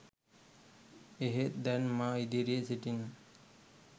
එහෙත් දැන් මා ඉදිරියේ සිටින